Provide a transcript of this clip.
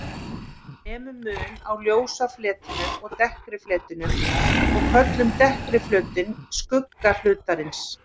Við nemum mun á ljósa fletinum og dekkri fletinum og köllum dekkri flötinn skugga hlutarins.